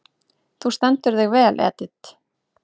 Þú stendur þig vel, Edit!